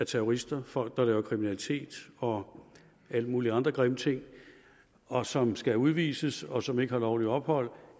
terrorister folk der begår kriminalitet og alle mulige andre grimme ting og som skal udvises og som ikke har lovligt ophold